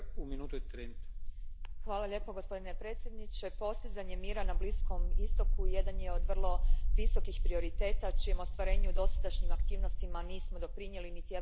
Gospodine predsjedniče, postizanje mira na Bliskom istoku jedan je od vrlo visokih prioriteta čijem ostvarenju dosadašnjim aktivnostima nismo doprinijeli, niti Europska unija niti Amerika.